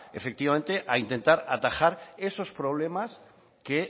efectivamente a intentar atajar esos problemas que